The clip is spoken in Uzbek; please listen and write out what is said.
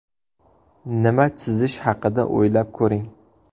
Nima chizish haqida o‘ylab ko‘ring.